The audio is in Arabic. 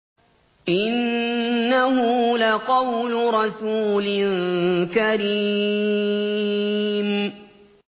إِنَّهُ لَقَوْلُ رَسُولٍ كَرِيمٍ